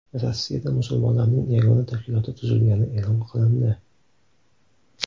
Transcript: Rossiyada musulmonlarning yagona tashkiloti tuzilgani e’lon qilindi.